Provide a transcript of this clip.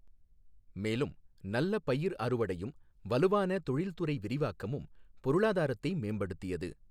மேலும், நல்ல பயிர் அறுவடையும் வலுவான தொழில்துறை விரிவாக்கமும் பொருளாதாரத்தை மேம்படுத்தியது.